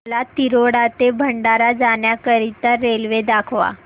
मला तिरोडा ते भंडारा जाण्या करीता रेल्वे दाखवा